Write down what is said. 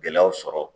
Gɛlɛyaw sɔrɔ